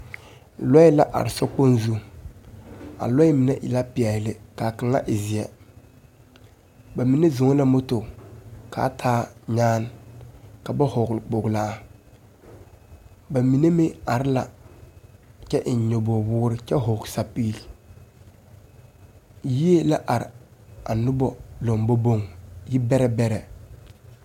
Lɔɛ la are sokpoŋ zuŋ. A lɔɛ mine e la peɛle kaa kaŋa e zeɛ. Ba mine zɔŋ na moto kaa taa nyaan, ka ba hɔgle kpoglaa. Ba mine meŋ are la kyɛ eŋ nyobog-woore kyɛ hɔg sapil. Yie la are a nobɔ lamboboŋ, yi bɛrɛ bɛrɛ.